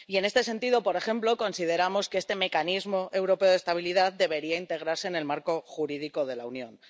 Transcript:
Y en este sentido, por ejemplo, consideramos que este Mecanismo Europeo de Estabilidad debería integrarse en el marco jurídico de la Unión.